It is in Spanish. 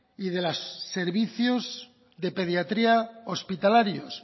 y de los servicios de pediatría hospitalarios